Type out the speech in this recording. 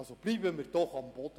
Bleiben wir doch auf dem Boden.